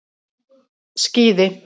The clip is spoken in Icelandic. Skíði